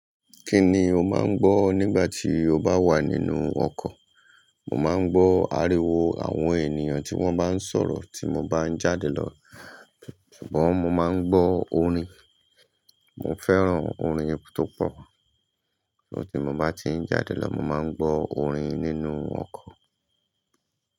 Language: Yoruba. Kí ni o máa ń gbọ́ nígbà tí o bá wà nínú ọkọ̀? Mò máa ń gbọ́ ariwo àwọn ènìyàn tí wọ́n bá ń sọ̀rọ̀ tí mo bá ń jáde lọ, ṣùgbọ́n mo máa ń gbọ́ orin. Mo fẹ́ràn orin pupọ̀, so tí mo bá ti ń jáde lọ, mo máa ń gbọ́ orin nínú ọkọ̀.